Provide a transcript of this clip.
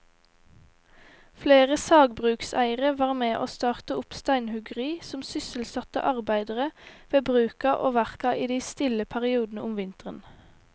Flere sagbrukseiere var med å starte opp steinhuggeri som sysselsatte arbeidere ved bruka og verka i de stille periodene om vinteren.